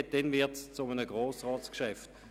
Erst dann wird es zu einem Grossratsgeschäft.